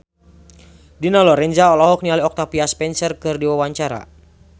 Dina Lorenza olohok ningali Octavia Spencer keur diwawancara